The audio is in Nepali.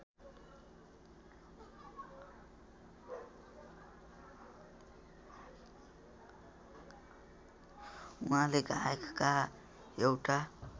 उहाँले गाएका एउटा